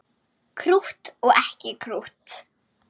Krútt og ekki krútt.